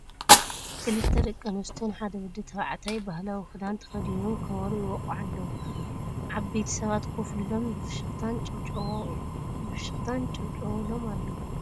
ክልተ ደቂ ኣንስትዮን ሓደ ወዲ ተባዕታይ ባህላዊ ኪዳን ተከዲኖም ከቢሮ ይወቅዑ ኣለዉ ዕበይቲ ሰባት ኮፍ ኢሎም ብ ፍሽክታየንጨብጭብሎም ኣለዉ ።